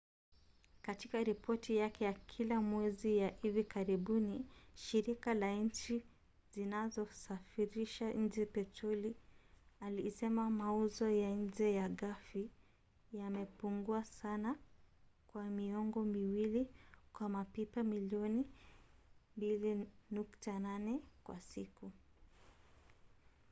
katika ripoti yake ya kila mwezi ya hivi karibuni shirika la nchi zinazosafirisha nje petroli ilisema mauzo ya nje ya ghafi yamepungua sana kwa miongo miwili kwa mapipa milioni 2.8 kwa siku